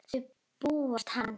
Þá bugast hann.